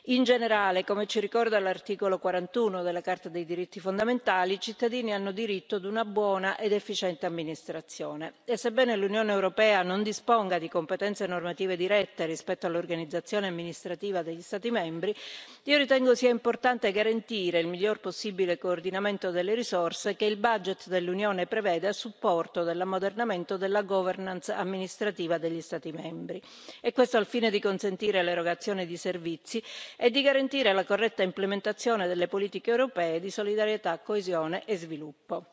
In generale, come ci ricorda l'articolo 41 della Carta dei diritti fondamentali, i cittadini hanno diritto a una buona ed efficiente amministrazione e, sebbene l'Unione europea non disponga di competenze normative dirette rispetto all'organizzazione amministrativa degli Stati membri, ritengo sia importante garantire il miglior possibile coordinamento delle risorse che il budget dell'Unione prevede a supporto dell'ammodernamento e della governance amministrativa degli Stati membri. Questo al fine di consentire l'erogazione di servizi e di garantire la corretta implementazione delle politiche europee di solidarietà, coesione e sviluppo.